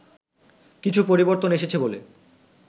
কিছু পরিবর্তন এসেছে বলে